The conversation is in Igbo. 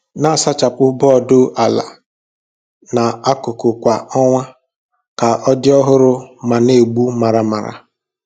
Na-asachapụ bọọdụ ala na akụkụ kwa ọnwa ka ọ dị ọhụrụ ma na-egbu maramara.